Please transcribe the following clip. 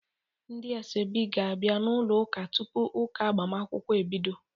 Ndị asoebi ga-abia n'ụlọ ụka tupu ụka agbamakwụkwọ ebido.